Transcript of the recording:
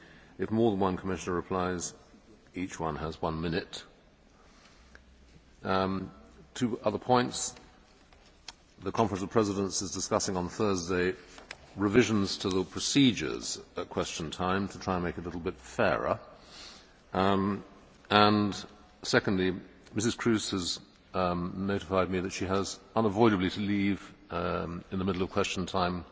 If more than one Commissioner replies, each one has one minute. Two other points. The Conference of Presidents is discussing on Thursday revisions to the procedures at Question Time to try and make it a little bit fairer. Secondly, Mrs Kroes has notified me that she unavoidably has to leave in the middle of Question